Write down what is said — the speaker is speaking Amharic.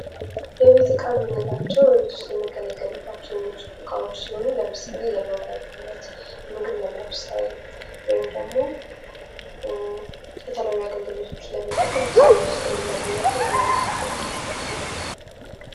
የቤት እካ የምንላቸው በቤት ዉስጥ ልንገለገልባቸው የምንችል እቃዎ ሲሆኑ ለምሳሌ ለመዋቢያነት ምግብ ለማብሰል ወይንም ደግሞ የተለያዩ አገልግሎቶችን ለመጠቀም ብቻ በቤት ዉስጥ የምንአገኛቸው የተለያዩ ቁሳቁሶች ናቸው።